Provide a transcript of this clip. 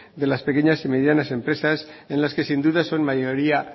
de las pequeñas y medianas empresas en las que sin duda son mayoría